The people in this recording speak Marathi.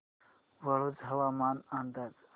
वाळूंज हवामान अंदाज